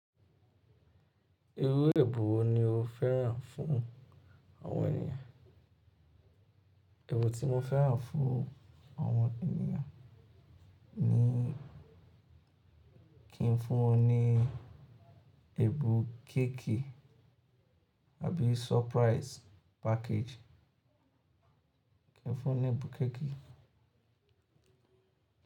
Irú ẹ̀bùn wo ni o fẹ́ràn fún àwọn ènìyàn? Ẹ̀bùn tí mo fẹ́ràn fún àwọn ènìyàn ni kí n fún wọn ní ẹ̀bùn cake àbí surprise package. Kí n fún wọn ní ẹ̀bùn cake.